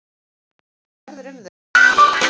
Þórdís: Hvað verður um þau?